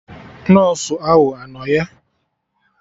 Nọsụ ahụ anọ ya?